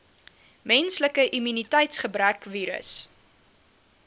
menslike immuniteitsgebrekvirus